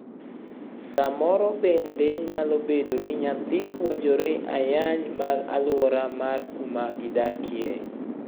Samoro bende nyalo bedo ni nyathi puonjore ayanje mag aluora mar kuma gidakie.